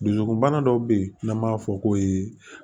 Dusukunbana dɔw bɛ yen n'an b'a fɔ ko